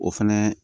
O fɛnɛ